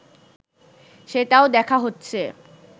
সেটাও দেখা হচ্ছে